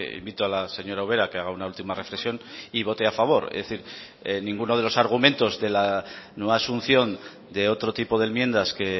invito a la señora ubera a que haga una última reflexión y vote a favor es decir ninguno de los argumentos de la no asunción de otro tipo de enmiendas que